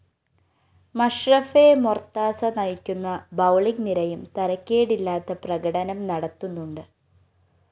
മഷ്‌റഫെ മൊര്‍താസ നയിക്കുന്ന ബൌളിംഗ്‌ നിരയും തരക്കേടില്ലാത്ത പ്രകടനം നടത്തുന്നുണ്ട്